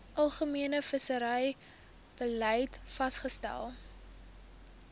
algemene visserybeleid vasgestel